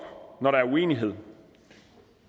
når der er uenighed